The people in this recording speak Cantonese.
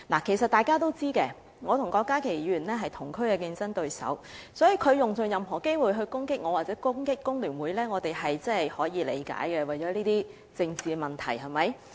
其實大家也知道，我和郭家麒議員是同區的競爭對手，所以他用盡所有機會攻擊我或攻擊工聯會，我們是可以理解的，是為了一些政治問題，對嗎？